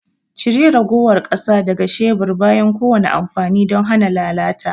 Cire ragowar ƙasa daga shebur bayan kowane amfani don hana lalata.